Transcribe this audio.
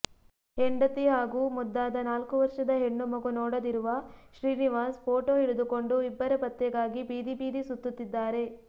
ಹೆಂಡತಿ ಹಾಗೂ ಮುದ್ದಾದ ನಾಲ್ಕು ವರ್ಷದ ಹೆಣ್ಣು ಮಗು ನೋಡದಿರುವ ಶ್ರೀನಿವಾಸ್ ಫೋಟೋ ಹಿಡಿದುಕೊಂಡು ಇಬ್ಬರ ಪತ್ತೆಗಾಗಿ ಬೀದಿಬೀದಿ ಸುತ್ತುತಿದ್ದಾರೆ